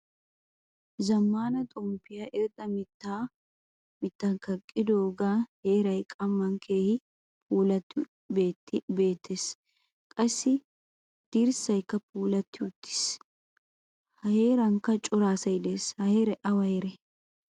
Zammaana xomppiyaa irxxa miittan kaqqogan heeray qamman keehin puulattidi beetiyanne qassi dirssaykka puulati uttiis. A heerankka cora asay de'ees. Ha heeray awa heeree?